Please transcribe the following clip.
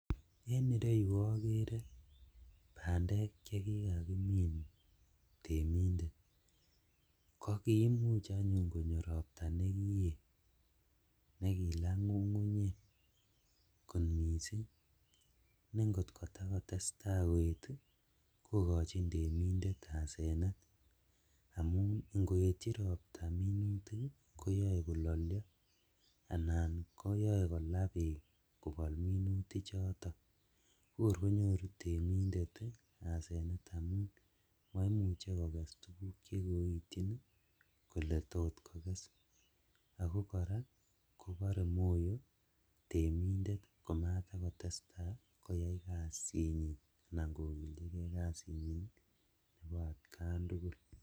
En ireyu okere bandek chekikakimin temindet kokiimuch anyun konyo ropta nekiyet nekilaa ngungunyek kot missing' ne Ingotakotestaa koet ii kokochin temindet asenet amun ingoetchi ropta minutik ii koyoe kololio anan koyoe kolaa beek kobol minutichoton kokor konyoru temindet asenet amun moimuche kokes tuguk chekoityin ii kole tot kokes ako koraa kobore moyo temindet komatakotestaa koyai kazinyin anan kogiljigee kasinyin ii nebo atkan tugul.